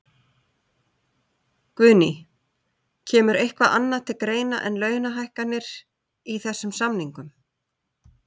Guðný: Kemur eitthvað annað til greina en launahækkanir í þessum samningum?